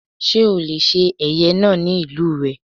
Sé ó le se ẹ̀yẹ náà ní ìlú rè?